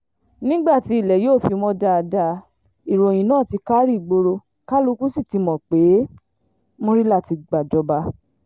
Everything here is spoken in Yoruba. nígbà tí ilẹ̀ yóò fi mọ̀ dáadáa ìròyìn náà ti kárí ìgboro kálukú sí ti mọ̀ pé murila ti gbàjọba